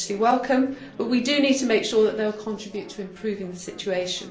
They are mostly welcome, but we do need to make sure that they will contribute to improving the situation.